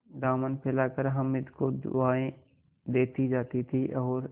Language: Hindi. दामन फैलाकर हामिद को दुआएँ देती जाती थी और